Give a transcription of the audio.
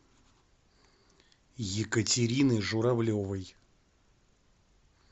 екатерины журавлевой